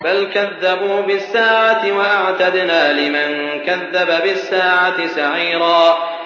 بَلْ كَذَّبُوا بِالسَّاعَةِ ۖ وَأَعْتَدْنَا لِمَن كَذَّبَ بِالسَّاعَةِ سَعِيرًا